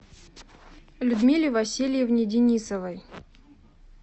людмиле васильевне денисовой